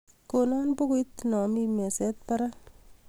Konon pukuit naa mi meset parak